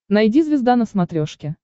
найди звезда на смотрешке